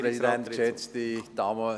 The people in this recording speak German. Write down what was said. – Dies ist der Fall.